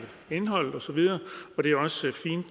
indholdet osv og det er også fint